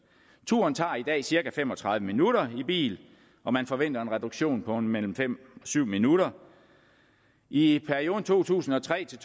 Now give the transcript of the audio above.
turen tager i dag cirka fem og tredive minutter i bil og man forventer en reduktion på mellem fem og syv minutter i perioden to tusind og tre til